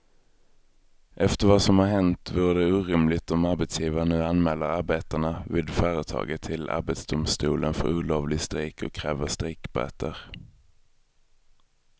Efter vad som har hänt vore det orimligt om arbetsgivaren nu anmäler arbetarna vid företaget till arbetsdomstolen för olovlig strejk och kräver strejkböter.